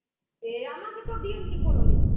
এ আমাদের তো দিন ঠিক হলো নিতে.